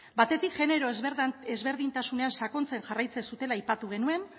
batetik genero ezberdintasunean sakontzen jarraitzen zutela aipatu genuen